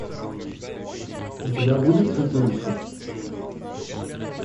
у тебя будет святилище